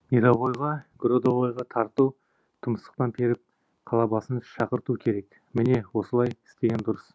мировойға гордовойға тарту тұмсықтан періп қалабасын шақырту керек міне осылай істеген дұрыс